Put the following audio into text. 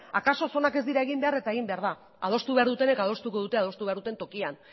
akaso zonak ez dira egin behar eta egin behar da adostu behar dutenek adostuko dute adostu behar duten tokian